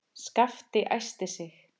Skapti æsti sig.